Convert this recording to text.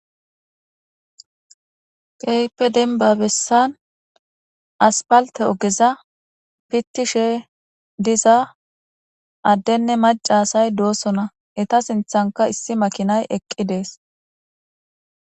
Kehipe demba besan asfalte ogeza pitishe diza ade nne mac,a asati de, osona eta sinthanka issi makinayi eqi de,ees